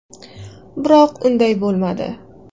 Biroq unday bo‘lmadi.